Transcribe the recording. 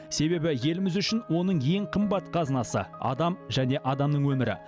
себебі еліміз үшін оның ең қымбат қазынасы адам және адамның өмірі